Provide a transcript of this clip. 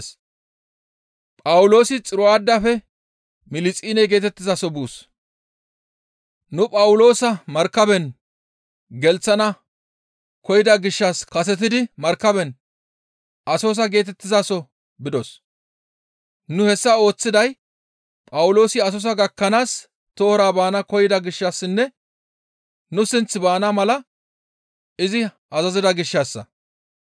Nuni Phawuloosa Markaben gelththana koyida gishshas kasetidi markaben Asosa geetettizaso bidos; nu hessa ooththiday Phawuloosi Asosa gakkanaas tohora baana koyida gishshassinne nu sinth baana mala izi azazida gishshassa.